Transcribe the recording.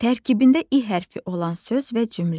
Tərkibində i hərfi olan söz və cümlə.